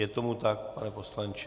Je tomu tak, pane poslanče?